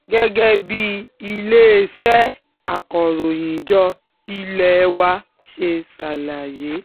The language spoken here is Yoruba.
gẹ́gẹ́ bí iléeṣẹ́ akọ̀ròyìnjọ ilé wa ṣe ṣàlàyé